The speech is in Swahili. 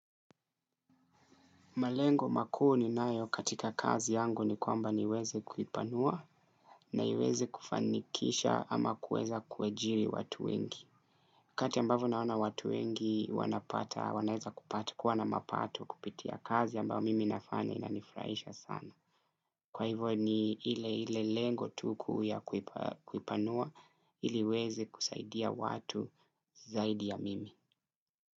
Malengo makuu ninayo katika kazi yangu ni kwamba niweze kuipanua na iweze kufanikisha ama kuweza kuajiri watu wengi. Kati ambavyo naona watu wengi wanapata, wanaeza kupata, kuwana mapato kupitia kazi ambayo mimi nafanya inanifuraisha sana. Kwa hivyo ni ile ile lengo tu kuu ya kuipanua ili iweze kusaidia watu zaidi ya mimi.